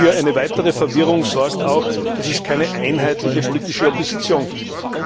Für eine weitere Verwirrung sorgt auch, dass es keine einheitliche politische Opposition gibt.